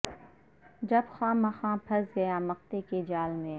جب خواہ مخواہ پھنس گیا مقطعے کے جال میں